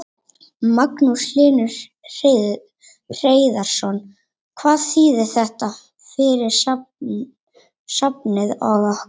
Magnús Hlynur Hreiðarsson: Hvað þýðir þetta fyrir safnið og ykkur?